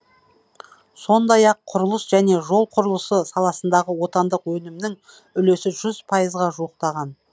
сондай ақ құрылыс және жол құрылысы саласындағы отандық өнімнің үлесі жүз пайызға жуықтаған